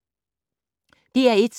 DR1